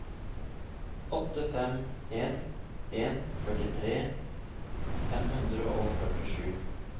åtte fem en en førtitre fem hundre og førtisju